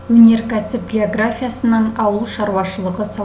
өнеркәсіп географиясының ауыл шаруашылығы